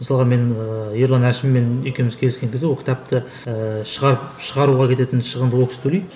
мысалға мен ыыы ерлан әшіммен екеуміз кездескен кезде ол кітапты ііі шығарып шығаруға кететін шығынды ол кісі төлейді